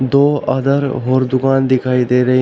दो अदर और दुकान दिखाई दे रही हैं।